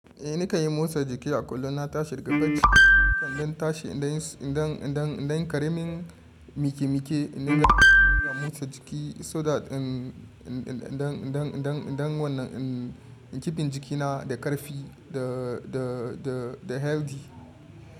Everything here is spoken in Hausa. Eh na kanyi motsa jiki a kullum. Na tashi daga bacci, nakan danta shi inda yin, inda, inda, inda karemin miki-mike, inda yana motsa jiki so that, um, inda, inda, inda wannan, um, kipin jikina da ƙarfi da, da, da, da healthy.